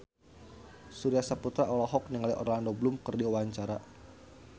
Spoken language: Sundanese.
Surya Saputra olohok ningali Orlando Bloom keur diwawancara